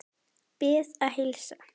Bið að heilsa.